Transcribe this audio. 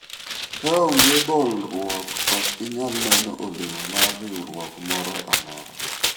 kaonge bolruok ok inyal neno olemo mar riwruok moro amora